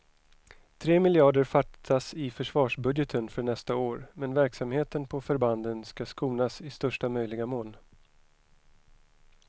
Tre miljarder fattas i försvarsbudgeten för nästa år, men verksamheten på förbanden ska skonas i största möjliga mån.